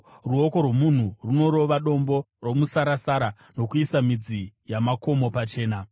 Ruoko rwomunhu runorova dombo romusarasara uye ronoisa midzi yamakomo pachena.